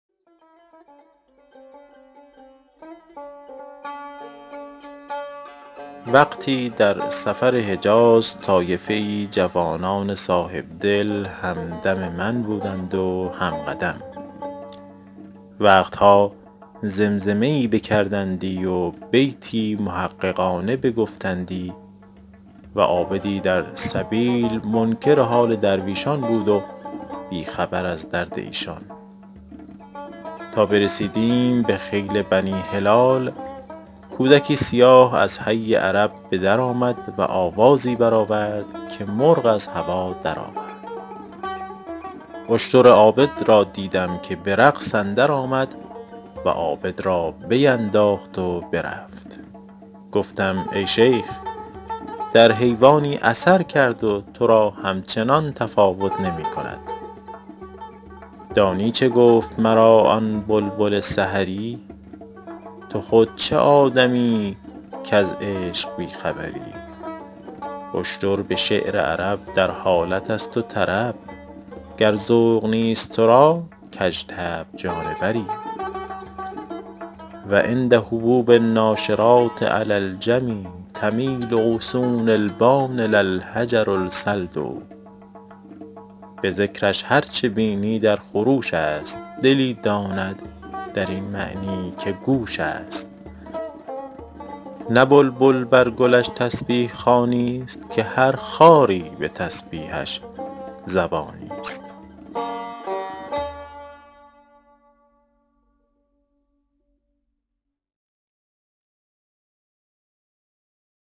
وقتی در سفر حجاز طایفه ای جوانان صاحبدل هم دم من بودند و هم قدم وقت ها زمزمه ای بکردندی و بیتی محققانه بگفتندی و عابدی در سبیل منکر حال درویشان بود و بی خبر از درد ایشان تا برسیدیم به خیل بنی هلال کودکی سیاه از حی عرب به در آمد و آوازی بر آورد که مرغ از هوا در آورد اشتر عابد را دیدم که به رقص اندر آمد و عابد را بینداخت و برفت گفتم ای شیخ در حیوانی اثر کرد و تو را همچنان تفاوت نمی کند دانی چه گفت مرا آن بلبل سحری تو خود چه آدمیی کز عشق بی خبری اشتر به شعر عرب در حالت است و طرب گر ذوق نیست تو را کژطبع جانوری و عند هبوب الناشرات علی الحمیٰ تمیل غصون البان لا الحجر الصلد به ذکرش هر چه بینی در خروش است دلی داند در این معنی که گوش است نه بلبل بر گلش تسبیح خوانی است که هر خاری به تسبیحش زبانی است